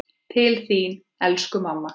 Til þín, elsku mamma.